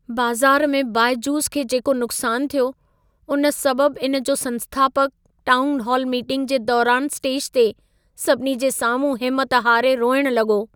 बज़ारु में बायजूस खे जेको नुक़्सान थियो, उन सबबु इन जो संस्थापकु टाउनहॉल मीटिंग जे दौरान स्टेज ते सभिनी जे साम्हूं हिमत हारे रोइण लॻो।